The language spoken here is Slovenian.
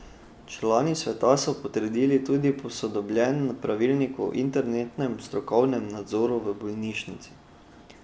Člani sveta so potrdili tudi posodobljen pravilnik o internem strokovnem nadzoru v bolnišnici.